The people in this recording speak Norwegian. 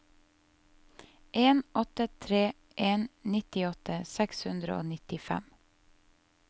en åtte tre en nittiåtte seks hundre og nittifem